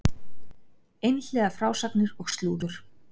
Einhliða frásagnir og slúður